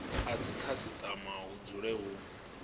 a dzikhasitama hu dzule hu